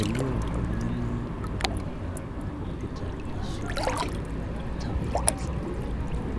elio oltung'ani oibung'ita en computer ashu en tablet